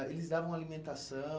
Ah, eles davam alimentação?